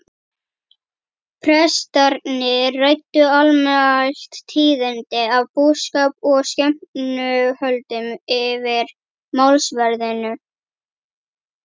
Prestarnir ræddu almælt tíðindi af búskap og skepnuhöldum yfir málsverðinum.